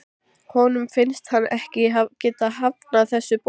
Honum finnst hann ekki geta hafnað þessu boði.